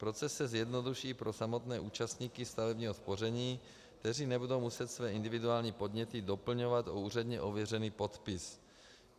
Proces se zjednoduší pro samotné účastníky stavebního spoření, kteří nebudou muset své individuální podněty doplňovat o úředně ověřený podpis.